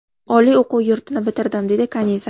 Oliy o‘quv yurtini bitirdim, – dedi Kaniza.